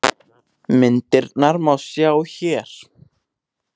Myndirnar má sjá hér